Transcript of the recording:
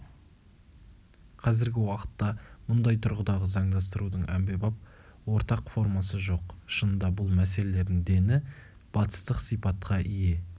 қазіргі уақытта мұндай тұрғыдағы заңдастырудың әмбебап ортақ формасы жоқ шынында бұл мәселелердің дені батыстық сипатқа ие